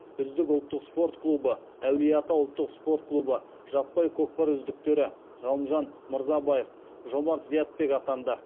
үздік ұлттық спорт клубы әулие ата ұлттық спорт клубы жаппай көкпар үздіктері ғалымжан мырзабаев жомарт зиябек атанды